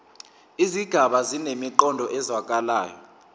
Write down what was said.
izigaba zinemiqondo ezwakalayo